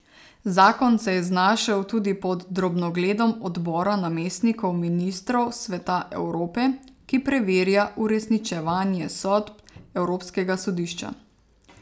Zakon se je znašel tudi pod drobnogledom odbora namestnikov ministrov Sveta Evrope, ki preverja uresničevanje sodb evropskega sodišča.